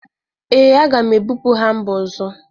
Ee, aga m ebụpu ha mba ọzọ